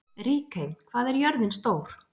Ríkey, hvað er jörðin stór?